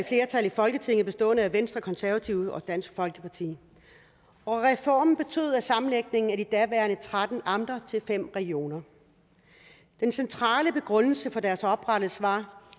flertal i folketinget bestående af venstre og konservative og dansk folkeparti reformen betød sammenlægning af de daværende tretten amter til fem regioner den centrale begrundelse for deres oprettelse var